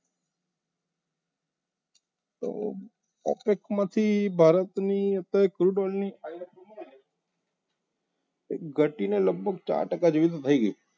Pocket માંથી અત્યારે ભારતની crud oil ઘટીને લગભગ ચાર ટકા જેવી તો થઈ ગઈ